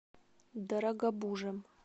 дорогобужем